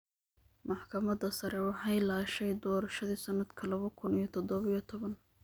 Maxkamadda sare waxay laashay doorashadii sanadka laba kun iyo todoba iyo toban.